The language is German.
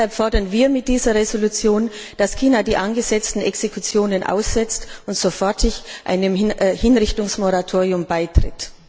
Deshalb fordern wir mit dieser Entschließung, dass China die angesetzten Exekutionen aussetzt und sofort einem Hinrichtungsmoratorium beitritt.